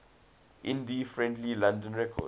indie friendly london records